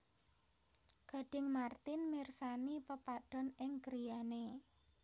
Gading Marten mirsani pepadon ing griyane